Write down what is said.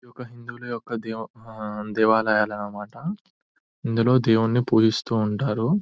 ఇది ఒక హిందువుల యొక్క దేవ దేవాలయాలన్నమాట. ఇందులో దేవుని పూజిస్తూ ఉంటారు .